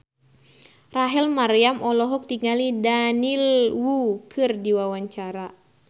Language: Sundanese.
Rachel Maryam olohok ningali Daniel Wu keur diwawancara